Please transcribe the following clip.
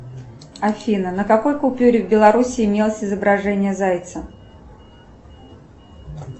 афина на какой купюре в белоруссии имелось изображение зайца